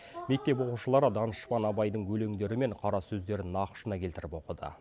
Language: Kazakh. мектеп оқушылары данышпан абайдың өлеңдері мен қара сөздерін нақышына келтіріп оқыды